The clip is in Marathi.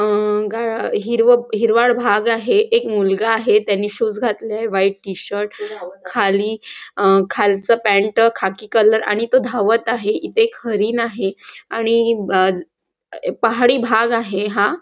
अ हिरवं हिरवाळ भाग आहे एक मुलगा आहे त्याने शूज घातले आहे व्हाईट टी-शर्ट खाली खालचा पॅन्ट खाकी कलर आणि तो धावत आहे इथे एक हरीण आहे आणि पहाडी भाग आहे हा.